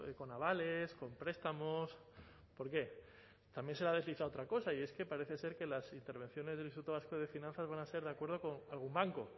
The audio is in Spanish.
con avales con prestamos por qué también se ha deslizado otra cosa y es que parece ser que las intervenciones del instituto vasco de finanzas van a ser de acuerdo con algún banco